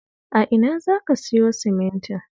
A ina za ka siyo simintin?